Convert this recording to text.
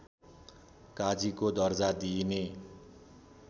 काजीको दर्जा दिइने